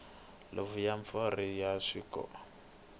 huvo ya mimfungho ya rixaka